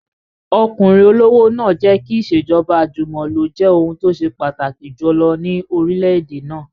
Ọkùnrin olówó náà jẹ́ kí ìṣèjọba àjùmọ̀lo jẹ́ ohun tó ṣe pàtàkì jù ní orílẹ̀-èdè náà